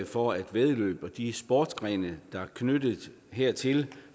for at væddeløb og de sportsgrene der er knyttet hertil